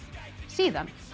síðan